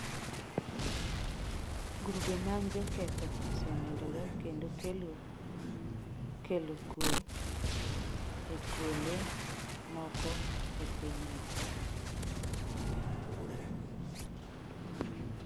Grube mag joketho osemedore kendo kelo kelo kwe e kuonde moko e pinyno.